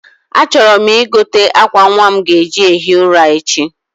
A chọrọ m i je gote akwa nwa m ga eji ehi ụra echi